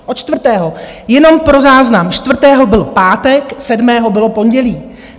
Od čtvrtého, jenom pro záznam, čtvrtého byl pátek, sedmého bylo pondělí.